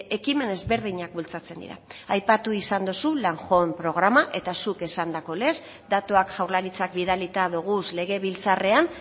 ekimen ezberdinak bultzatzen dira aipatu izan duzu landhome programa eta zuk esandako lez datuak jaurlaritzak bidalita doguz legebiltzarrean